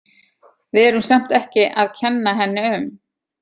Við erum samt ekki að kenna henni um.